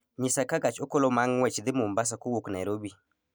nyisa ka gach okoloma ng'wech dhi mombasa kowuok nairobi